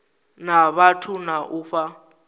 na vhathu na u fha